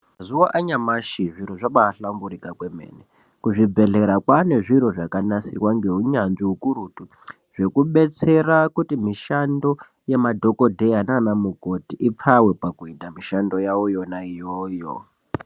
Mazuva anyamashi zviro zvabaahlamburika kwemene. Kuzvibhedhlera kwaane zviro zvakanasirwa ngeunyanzvi ukurutu, zvekudetsera kuti mishando yemadhogodheya nanamukoti ipfawe pakuita mishando yavo yona iyoyo.